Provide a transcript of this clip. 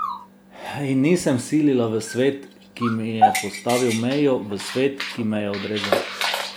In nisem silila v svet, ki mi je postavil mejo, v svet, ki me je odrezal.